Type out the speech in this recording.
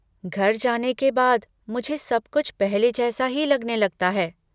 घर जाने के बाद, मुझे सब कुछ पहले जैसा ही लगने लगता है।